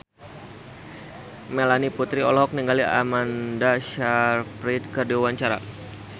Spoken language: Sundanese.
Melanie Putri olohok ningali Amanda Sayfried keur diwawancara